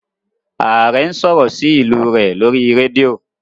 Aare n sọrọ sí ilú rẹ lórí rédíò